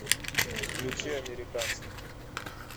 включи американцы